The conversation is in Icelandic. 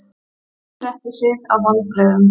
Gunni gretti sig af vonbrigðum.